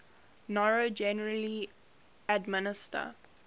noro generally administer